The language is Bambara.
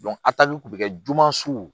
a tali kun bɛ kɛ juma suw